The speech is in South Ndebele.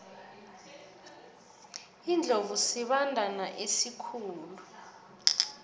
iindlovu sibandana esikhulu